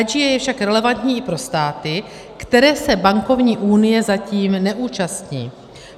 IGA je však relevantní i pro státy, které se bankovní unie zatím neúčastní.